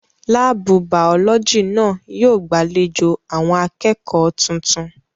Láàbù Bàọ́lọ́jì náà yóò gbàlejò àwọn akẹ́kọ̀ọ́ tuntun